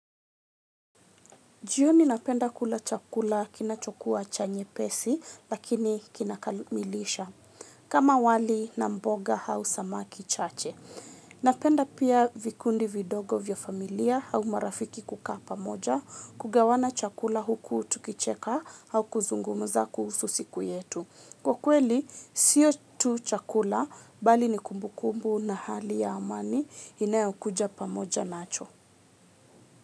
Jioni napenda kula chakula kinacho kuwa cha nyepesi lakini kina kamilisha kama wali, na mboga au samaki chache. Napenda pia vikundi vidogo vya familia au marafiki kukaa pamoja kugawana chakula huku tukicheka au kuzungumza kuhusu siku yetu. Kwa kweli, siyo tu chakula bali ni kumbu kumbu na hali ya amani inayo kuja pamoja nacho.